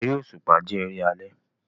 Eré òṣùpá jẹ́ eré alẹ́